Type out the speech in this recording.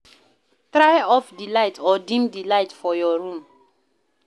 Try off di light or deem di light for your room